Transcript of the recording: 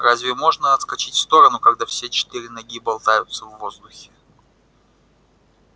разве можно отскочить в сторону когда все четыре ноги болтаются в воздухе